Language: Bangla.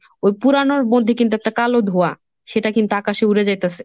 ওই পুরানোর মধ্যে কিন্তু একটা কালো ধোঁয়া সেটা কিন্তু আকাশে উড়ে যাইতাসে।